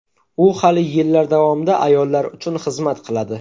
U hali yillar davomida ayollar uchun xizmat qiladi.